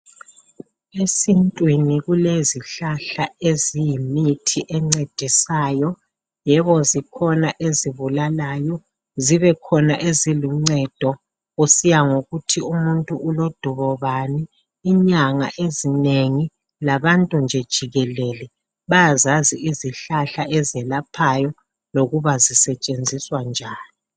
Esintwini kulezihlahla eziyimithi encedisayo. Yebo zikhona ezibulalayo zibekhona eziluncedo kusiya ngokuthi umuntu ulodubo bani. Inyanga ezinengi labantu nje jikelele bayazazi izihlahla ezelaphayo okuba sisetshenziswa njani.